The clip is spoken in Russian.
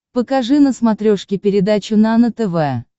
покажи на смотрешке передачу нано тв